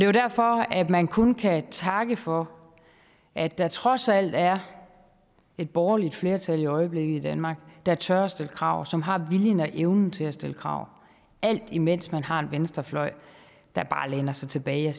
jo derfor man kun kan takke for at der trods alt er et borgerligt flertal i øjeblikket i danmark der tør stille krav som har viljen og evnen til at stille krav alt imens man har en venstrefløj der bare læner sig tilbage